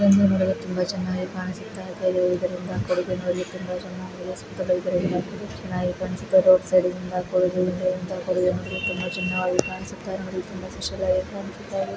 ಇದು ನೋಡಲು ತುಂಬಾ ಚೆನ್ನಾಗಿ ಕಾಣಿಸುತ್ತಾಯಿದೆ. ಇದರಿಂದ ಸೂತ್ತಲೂ ಇದರಲ್ಲಿ ಮರಗಳಿವೆ ಚೆನ್ನಾಗಿ ಕಾಣಿಸುತ್ತಾ ರೋಡ್ ಸೈಡಿನಿಂದ ಕೂಡಿದ್ದು ಇಂದೆಯಿಂದಾ ಕೂಡಿದ್ದು ನೋಡಲು ತುಂಬಾ ಚೆನ್ನಾಗಿ ಕಾಣಿಸುತಾಯಿದೆ. ನೋಡಿ ತುಂಬಾ ಸ್ಪೆಷಲ್ ಆಗಿ ಕಾಣಿಸುತ್ತಾ ಇದೆ.